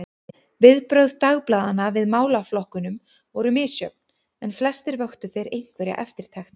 Viðbrögð dagblaðanna við málaflokkunum voru misjöfn, en flestir vöktu þeir einhverja eftirtekt.